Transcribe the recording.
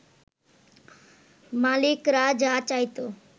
মালিকরা যা চাইত